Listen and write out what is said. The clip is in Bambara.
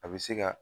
A bɛ se ka